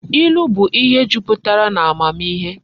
Ilu bu ihe juputara na amamihe